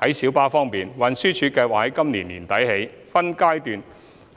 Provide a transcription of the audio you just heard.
在小巴方面，運輸署計劃由今年年底起，分階段